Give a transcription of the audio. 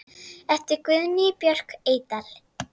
eftir Guðnýju Björk Eydal